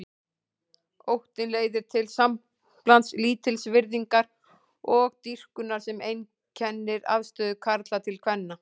Óttinn leiðir til samblands lítilsvirðingar og dýrkunar sem einkennir afstöðu karla til kvenna.